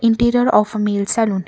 interior of a male salon.